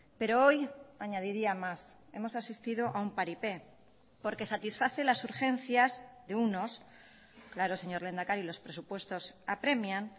pero hoy añadiría más hemos asistido a un paripé porque satisface las urgencias de unos claro señor lehendakari los presupuestos apremian